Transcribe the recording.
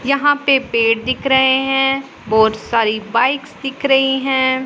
यहां पे पेड दिख रहे हैं और बहोत सारी बाइक्स दिख रही है।